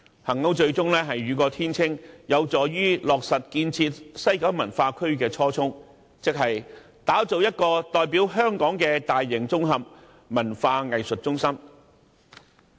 幸好，最終雨過天青，能落實建設西九文化區的初衷，即打造一個代表香港的大型綜合文化藝術中心。